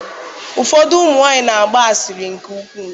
Ụfọdụ ụmụ nwanyị na-agba asịrị nke ukwuu.